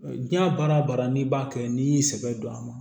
Diɲɛ baara o baara n'i b'a kɛ n'i y'i sɛbɛ don a ma